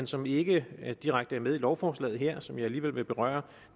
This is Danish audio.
som ikke direkte er med i lovforslaget her men som jeg alligevel vil berøre